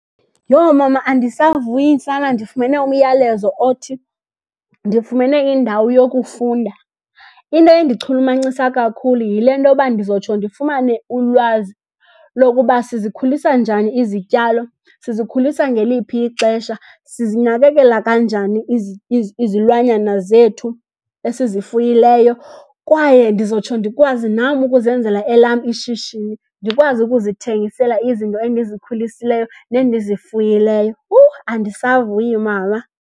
Yho! Mama, andisavuyi sana ndifumene umyalezo othi ndifumene indawo yokufunda. Into endichulumancisa kakhulu yile ntoba ndizotsho ndifumane ulwazi lokuba sizikhulisa njani izityalo, sizikhulisa ngeliphi ixesha, sizinakekela kanjani izilwanyana zethu esizifuyileyo. Kwaye ndizotsho ndikwazi nam ukuzenzela elam ishishini, ndikwazi ukuzithengisela izinto endizikhulisileyo nendizifuyileyo. Huu! Andisavuyi mama.